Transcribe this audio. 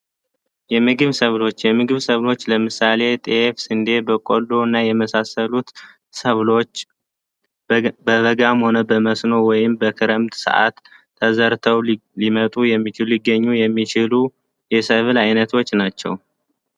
የምግብ ሰብሎች የምግብ ሰብስ ለምሳሌ ጤፍን በቀሎ እና የመሳሰሉት ሰብሎች በበገም ሆነ በመስኖ ወይም በክረምት ሰዓታት ሊመጡ የሚችሉ ተዘርተው ሊገኙ የሚችሉ አይነቶች ናቸው።